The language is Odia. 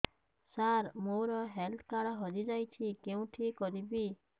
ସାର ମୋର ହେଲ୍ଥ କାର୍ଡ ହଜି ଯାଇଛି କେଉଁଠି କରିବି